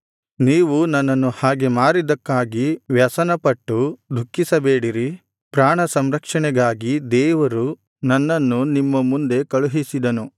ನೀವು ನನ್ನನ್ನು ಹಾಗೆ ಮಾರಿದ್ದಕ್ಕಾಗಿ ವ್ಯಸನಪಟ್ಟು ದುಃಖಿಸಬೇಡಿರಿ ಪ್ರಾಣ ಸಂರಕ್ಷಣೆಗಾಗಿ ದೇವರು ನನ್ನನ್ನು ನಿಮ್ಮ ಮುಂದೆ ಕಳುಹಿಸಿದನು